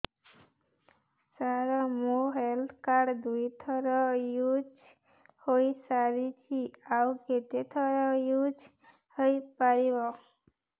ସାର ମୋ health card ଦୁଇ ଥର ୟୁଜ଼ ହୈ ସାରିଛି ଆଉ କେତେ ଥର ୟୁଜ଼ ହୈ ପାରିବ